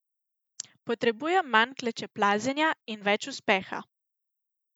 Potrebujem manj klečeplazenja in več uspeha!